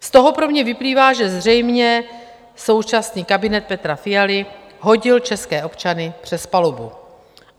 Z toho pro mě vyplývá, že zřejmě současný kabinet Petra Fialy hodil české občany přes palubu.